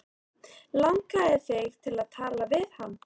Langaði þig til að tala við hann?